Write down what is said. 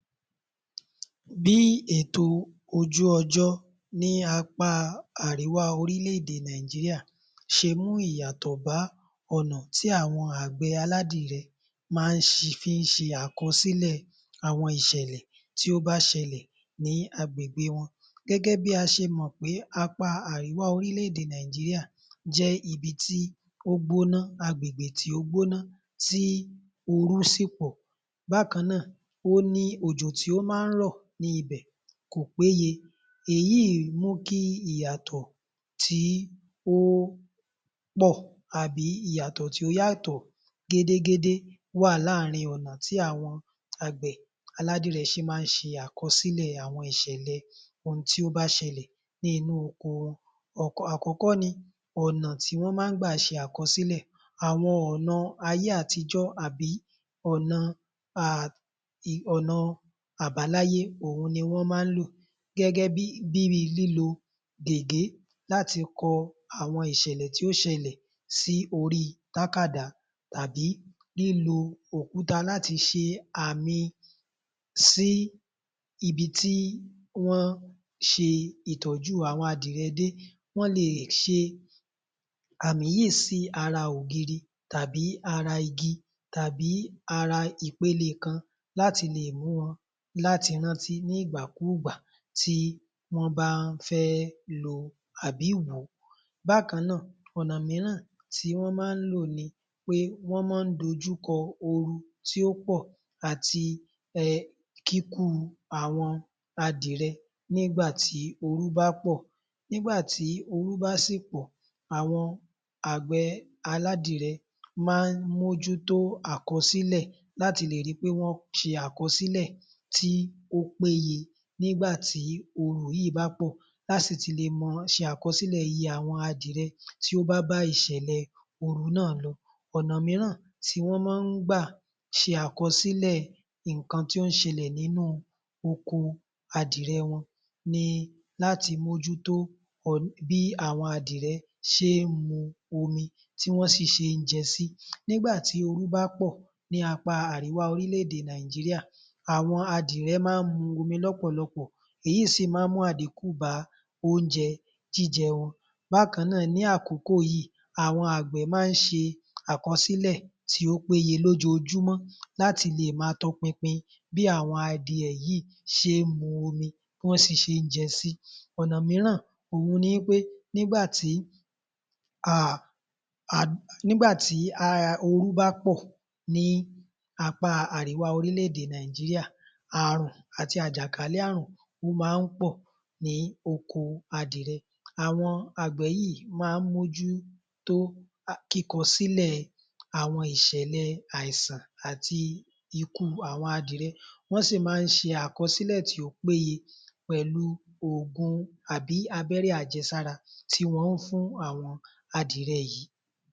Bí ètò ojú-ọjọ́ ní apá àríwá orílẹ̀-èdè Nàìjíríà ṣe mú ìyàtọ̀ bá ọ̀nà tí àwọn àgbẹ̀ aládìyẹ má fín ṣe àkọsílẹ̀ àwọn ìṣẹ̀lẹ̀ tí ó bá ṣẹlẹ̀ ní agbègbè wọn. Gẹ́gẹ́ bí a ṣe mọ̀ pé apá àríwá orílẹ̀-èdè Nàìjíríà jẹ́ ibi tí ó gbóná, agbègbè tí ó gbóná tí oru sì pọ̀. Bákan náà, òjò tí ó má ń rọ̀ ní ibẹ̀ kò péye. Èyí mú kí ìyàtọ̀ tí ó pọ̀ abi ìyàtọ̀ tí ó yàtọ̀ gédégédé wà láàárìn ọ̀nà tí àwọn àgbẹ̀ aládìyẹ ṣe má ń ṣe àkọsílẹ̀ àwọn ìṣẹ̀lẹ̀ ohun tí ó bá ṣẹlẹ̀ nínú oko wọn. Àkọ́kọ́ ni ọ̀nà tí wọ́n má gbà ṣe àkọsílẹ̀, àwọn ọ̀nà ayé àtijọ́ àbí ọ̀nà àbáláyé òhun ni wọ́n má ń lò. Gẹ́gẹ́ bíi lílo gègé láti kọ àwọn ìṣẹ̀lẹ̀ tí o ṣẹlẹ̀ sí ori tákàdá tàbí lílo òkuta láti ṣe àmì sí ibi tí wọ́n ṣe ìtọ̀jú àwọn adìyẹ dé. Wọ́n lè ṣe àmì yí sí ara ògiri tàbí ara igi tàbí ara ìpele kan láti lè mú wọn láti rántí ní ìgbàkúùgbà tí wọ́n bá fẹ́ lo àbí wò ó. Bákan náà, ọ̀nà míràn tí wọ́n má lò ni pé wọ́n ma ń dojúkọ oru tí ó pọ̀ àti kíkú àwọn adìyẹ nígbà tí oru bá pò. Nígbà tí oru bá sì pọ̀, àwọn àgbẹ̀ aládìyẹ ḿa ń mójútó àkọsílẹ̀ láti lè ri pé wọ́n ṣe àkọsílẹ̀ tí ó péye nígbà tí oru yìí bá pọ̀ láti lè ma ṣe àkọsílẹ̀ iye àwọn adìyẹ tí ó bá bá ìṣèlẹ̀ oru náà lọ. Ọ̀nà míràn tí wọ́n má ń gbà ṣe àkọsílẹ̀ nǹkan tí ó ń ṣẹlẹ̀ nínú oko adìyẹ wọn ni láti mójútó bí àwọn adìyẹ ṣe ń mu omi tí wọ́n sì ṣe ń jẹ sí. Nígbà tí oru bá pọ̀ ní apá àríwá orílẹ̀-èdè Nàìjíríà, àwọn adìyẹ ma ń mu omi lọ́pọ̀lọpọ̀ èyí sì ma ń mú àdíkù bá oúnjẹ jíjẹ wọn. Bákan náà, ní àkókò yí àwọn àgbẹ̀ má ń ṣe àkọsílẹ̀ tí ó péye lójoojúmọ́ láti lè má a tọ pinpin bí àwọn adìyẹ yìí ṣe ń mu omi, bí wọ́n sì ṣe ń jẹ sí. Ọ̀nà míràn òhun ni wí pé, nígbà tí oru bá pọ̀ ní àríwá orílẹ̀-èdè Nàìjíríà àrùn àti àjàkálẹ̀ àrùn ó ma ń pọ̀ ní oko adìyẹ. Àwọn àgbẹ̀ yìí má ń mójútó kíkọ sílẹ̀ àwọn ìṣẹ̀lẹ̀ aìsàn àti ikú àwọn adìyẹ, wọ́n sì ma ń ṣe àkọsílẹ̀ tí ó péye pẹ̀lú ògùn àbí abẹ́rẹ́ àjẹsára tí wọ́n fún àwọn adìyẹ yìí.